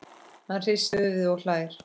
Hann hristir höfuðið og hlær.